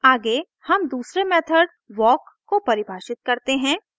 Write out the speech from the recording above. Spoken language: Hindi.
आगे हम दूसरे मेथड walk को परिभाषित करते हैं